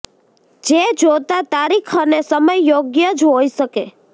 જે જોતાં તારીખ અને સમય યોગ્ય જ હોય શકે